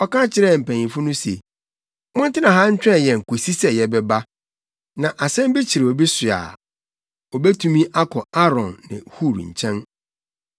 Ɔka kyerɛɛ mpanyimfo no se, “Montena ha ntwɛn yɛn kosi sɛ yɛbɛba. Sɛ asɛm bi kyere obi so a, obetumi akɔ Aaron ne Hur nkyɛn.”